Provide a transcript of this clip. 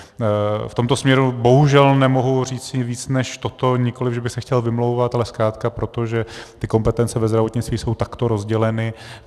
V tomto směru bohužel nemohu říci víc než toto, nikoliv že bych se chtěl vymlouvat, ale zkrátka proto, že ty kompetence ve zdravotnictví jsou takto rozděleny.